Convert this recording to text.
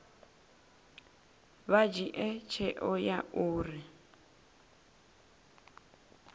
vha dzhie tsheo ya uri